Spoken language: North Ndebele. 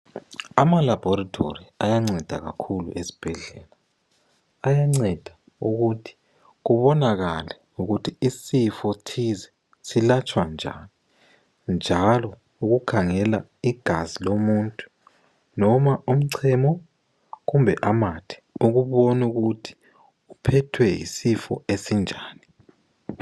Amalaboratory ayanceda kakhulu esibhendlela. Ayanceda ukuthi kubonakala ukuthi isifo thize silatshwa njani, njalo ukukhangela igazi lomuntu ,noba umchemo kumbe amathe ukubona ukuthi uphethwe yisifo esinjani.